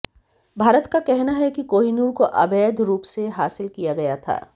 भारत का कहना है कि कोहिनूर को अवैध रुप से हासिल किया गया था